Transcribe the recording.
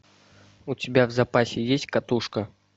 у тебя в запасе есть катушка